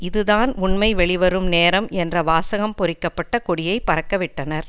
இது தான் உண்மை வெளிவரும் நேரம் என்ற வாசகம் பொறிக்க பட்ட கொடியை பறக்கவிட்டனர்